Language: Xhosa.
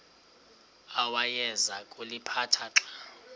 awayeza kuliphatha xa